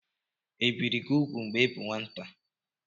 Ebìri gị úgwù mgbe ị bụ nwata?